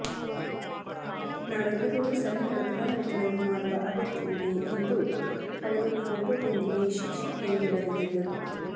ನಾವೆಲ್ಲರೂ ಸಣ್ಣ ಬದಲಾವಣೆಗಳನ್ನು ಮಾಡುವ ಅಗತ್ಯವಿದೆ ಎಂದು ಅವರು ಫೋಟೋದೊಂದಿಗೆ ಶೀರ್ಷಿಕೆಯನ್ನು ಬರೆದಿದ್ದರು